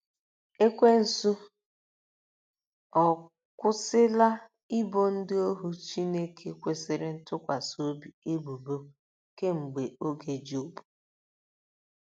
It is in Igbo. Ekwensu ọ̀ akwụsịla ibo ndị ohu Chineke kwesịrị ntụkwasị obi ebubo kemgbe oge Jobu?